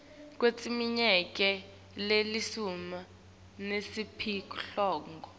kweminyaka lelishumi nesiphohlongo